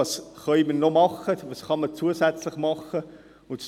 Was können wir sonst noch tun, was kann man zusätzlich tun?